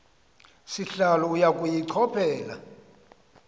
sihlalo uya kuyichophela